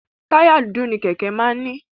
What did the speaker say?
Táyà dúdú ni Kẹ̀kẹ́ máa ń ní.